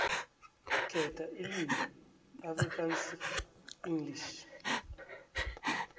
khetha ilimi afrikaansenglish